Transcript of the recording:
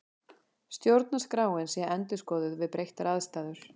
Stjórnarskráin sé endurskoðuð við breyttar aðstæður